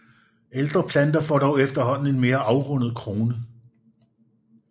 Ældre planter får dog efterhånden en mere afrundet krone